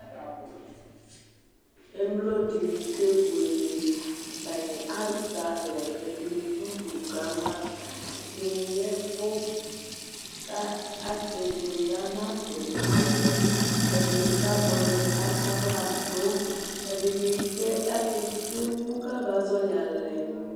émlo dini kébuélé atani azalɛ ɛdini dʊ du kama ɛdini yɛvu ka aké buélé ana du awũ ɛdini kamõ ɛdini katsahladu ɛdini ké akésému kaba zɔli alɛ